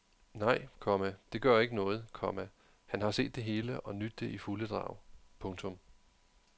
Nej, komma det gør ikke noget, komma han har set det hele og nydt det i fulde drag. punktum